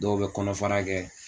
Dɔw bɛ kɔnɔfara kɛ